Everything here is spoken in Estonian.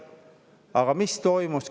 Aga mis toimus?